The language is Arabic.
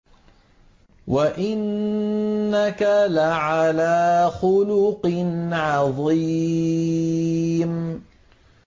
وَإِنَّكَ لَعَلَىٰ خُلُقٍ عَظِيمٍ